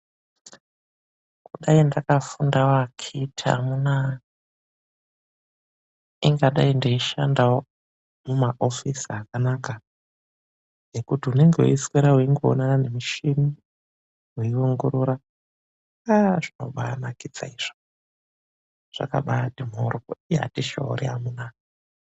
Kudai ndakafundawo akhithi amuna ingadai ndishandawo muma hofisi akanaka. Nekuti unenge weiswera uingoonana nemishini weiongorora zvakabanakidzazvo zvakabati mhoryo ii hatishori amuna.